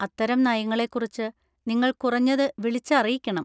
അത്തരം നയങ്ങളെ കുറിച്ച് നിങ്ങൾ കുറഞ്ഞത് വിളിച്ച് അറിയിക്കണം.